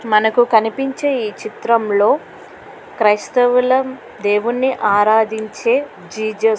మనకు కనిపించే ఈ చిత్రంలో క్రైస్తవుల దేవుని ఆరాధించే జీసస్ --